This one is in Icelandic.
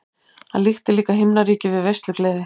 Hann líkti líka himnaríki við veislugleði.